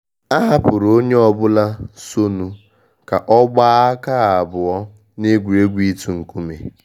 A hapụrụ onye ọbụla so nu ka ọ gbaa aka abụọ n’egwuregwu itu nkume.